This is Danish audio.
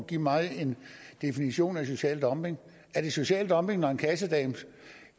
give mig en definition af social dumping er det social dumping når en kassedame